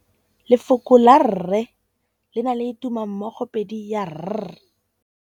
Lefoko la rre, le na le tumammogôpedi ya, r.